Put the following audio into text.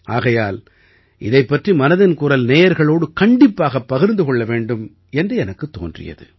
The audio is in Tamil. ஆகையால் இதைப் பற்றி மனதில் குரல் நேயர்களோடு கண்டிப்பாகப் பகிர்ந்து கொள்ள வேண்டும் என்று எனக்குத் தோன்றியது